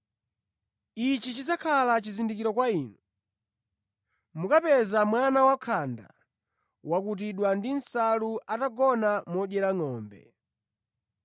Ichi chidzakhala chizindikiro kwa inu: mukapeza mwana wakhanda wokutidwa ndi nsalu atagona modyera ngʼombe.”